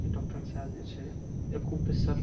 ई doctor अंशा देइ छे। एको पे सर --